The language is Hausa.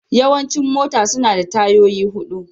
Yawancin mota suna da tayoyi hudu.